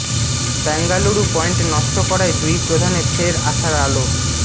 Bengaluru point নষ্ট করায় দুই প্রধানে ফের আশার আলো